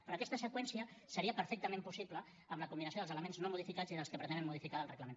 però aquesta seqüència seria perfectament possible amb la combinació dels elements no modificats i dels que pretenen modificar del reglament